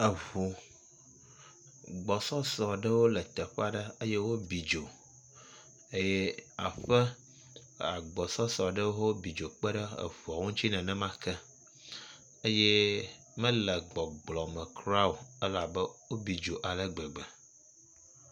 Eʋu gbɔsɔsɔ ɖewo le teƒi ɖe eye wobi dzo eye aƒe agbɔsɔsɔ ɖewo hã wobi dzo kpeɖe eʋuo ŋuti nenema ke eye mele gbɔgblɔ me kuraa o elabe wobi dzo ale gbegbe.